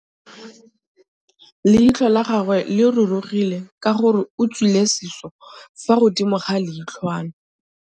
Leitlhô la gagwe le rurugile ka gore o tswile sisô fa godimo ga leitlhwana.